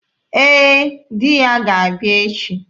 Ee, Di ga-abịa echi.